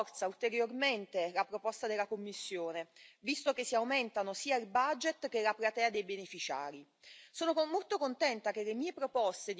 Il testo approvato in commissione CULT rafforza ulteriormente la proposta della Commissione, visto che si aumentano sia il budget che la platea dei beneficiari.